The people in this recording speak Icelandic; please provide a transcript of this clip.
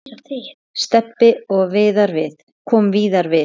Stebbi kom víðar við.